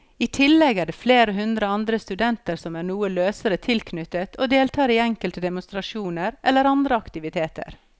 I tillegg er det flere hundre andre studenter som er noe løsere tilknyttet og deltar i enkelte demonstrasjoner eller andre aktiviteter.